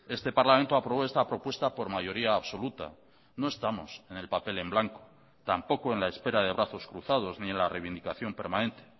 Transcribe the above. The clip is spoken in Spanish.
este parlamento aprobó esta propuesta por mayoría absoluta no estamos en el papel en blanco tampoco en la espera de brazos cruzados ni en la reivindicación permanente